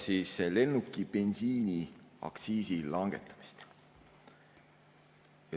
See käsitleb lennukibensiini aktsiisi langetamist.